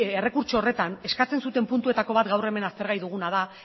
errekurtso horretan eskatzen zuten puntuetako bat gaur hemen aztergai duguna da